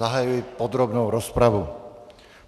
Zahajuji podrobnou rozpravu.